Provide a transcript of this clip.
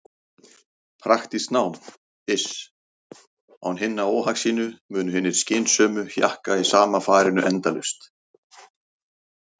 Praktískt nám, iss- án hinna óhagsýnu munu hinir skynsömu hjakka í sama farinu endalaust.